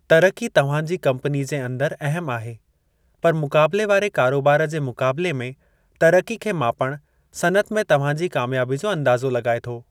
तरिक़ी तव्हां जी कम्पनी जे अंदर अहमु आहे, पर मुक़ाबिले वारे कारोबार जे मुक़ाबिले में तरिक़ी खे मापणु सनइत में तव्हां जी कामयाबी जो अंदाज़ो लॻाए थो।